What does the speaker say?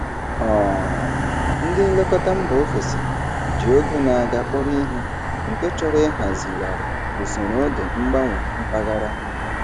um Ndị nlekọta mba ofesi ji oge na-aga kpọrọ ihe, nke chọrọ ịhazigharị usoro oge mgbanwe mpaghara.